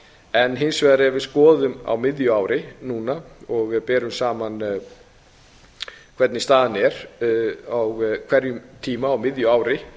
en hins vegar ef við skoðum á miðju ári núna og ef við berum saman hvernig staðan er á hverjum tíma á miðju ári